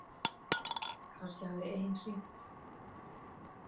Kannski hafði ein hringt.